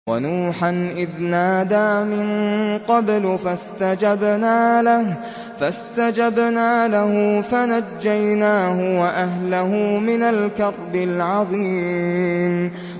وَنُوحًا إِذْ نَادَىٰ مِن قَبْلُ فَاسْتَجَبْنَا لَهُ فَنَجَّيْنَاهُ وَأَهْلَهُ مِنَ الْكَرْبِ الْعَظِيمِ